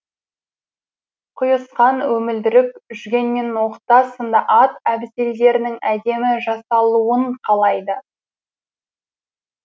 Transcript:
құйысқан өмілдірік жүген мен ноқта сынды ат әбзелдерінің әдемі жасалуын қалайды